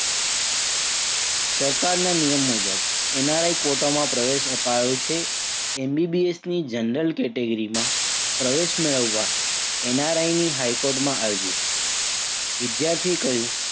સરકારના નિયમ મુજબ NRI quota માં પ્રવેશ અપાયો છે. MBBS ની general category માં પ્રવેશ મેળવવા NRI ની હાઈ કોર્ટમાં અરજી. વિદ્યાર્થીએ કહ્યું,